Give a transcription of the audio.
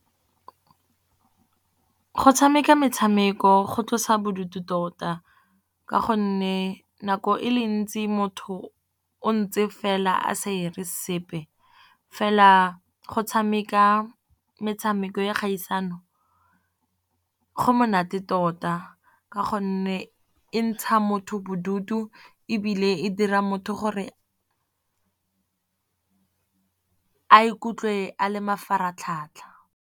Go tshameka metshameko go tlosa bodutu tota. Ka gonne nako e le ntsi motho o ntse fela a sa dire sepe, fela go tshameka metshameko ya kgaisano, go monate tota. Ka gonne e ntsha motho bodutu ebile e dira motho gore a ikutlwe a le mafaratlhatlha.